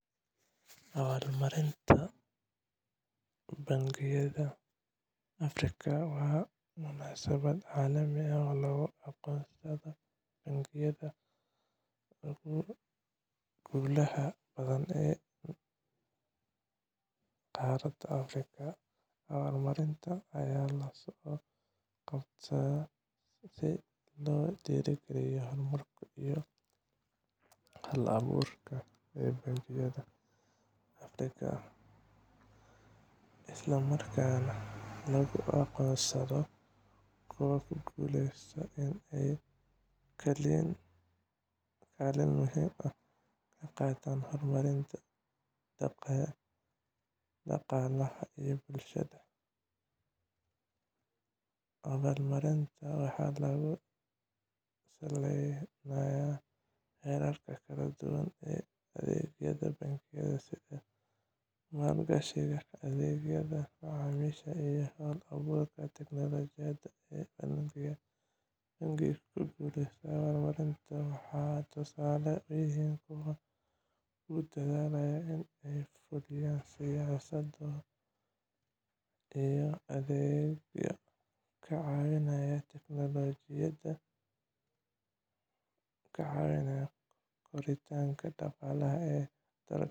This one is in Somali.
Abaalmarinta Bangiyada Afrikaanka waa munaasabad caalami ah oo lagu aqoonsado bankiyada ugu guulaha badan ee qaaradda Afrika. Abaalmarintan ayaa loo qabtaa si loo dhiirrigeliyo horumarka iyo hal-abuurka ee bangiyada Afrika, isla markaana loogu aqoonsado kuwa ku guuleysta inay kaalin muhiim ah ka qaataan horumarinta dhaqaalaha iyo bulshada. Abaalmarinta waxaa lagu saleynayaa heerarka kala duwan ee adeegyada bangiyada, sida maalgashiga, adeegyada macaamiisha, iyo hal-abuurka teknolojiyadda ee bangiyada. Bangiyada ku guuleysta abaalmarintan waxay tusaale u yihiin kuwa ku dadaalaya in ay fuliyaan siyaasado iyo adeegyo ka caawinaya koritaanka dhaqaalaha ee dalalka Afrika.